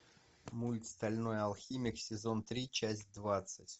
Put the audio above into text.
мульт стальной алхимик сезон три часть двадцать